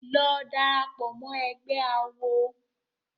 Lọ darapọ̀ mọ́ ẹgbé awo!